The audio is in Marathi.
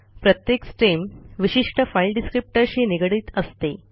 प्रत्येक स्ट्रीम विशिष्ठ फाइल descriptorशी निगडीत असते